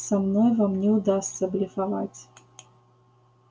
со мной вам не удастся блефовать